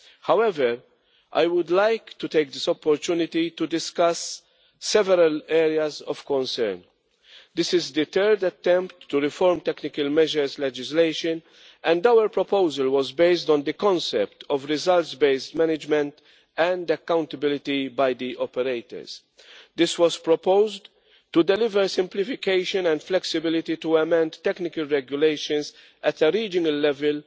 However, I would like to take this opportunity to discuss several areas of concern. This is the third attempt to reform technical measures legislation, and our proposal was based on the concept of results-based management and accountability by the operators. This was proposed to deliver simplification and flexibility to amend technical regulations at a regional level,